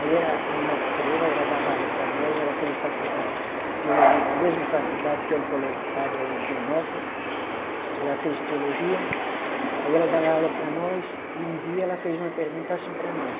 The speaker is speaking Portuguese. Aí era uma freira, ela dava aula para nós, ela fez faculdade de teologia na mesma faculdade, que é um colégio de padre aí de Higienópolis, ela fez teologia, aí ela dava aula para nós, e um dia ela fez uma pergunta assim para nós,